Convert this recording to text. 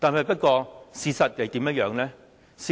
不過，事實是怎樣的呢？